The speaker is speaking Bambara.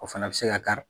O fana bɛ se ka kari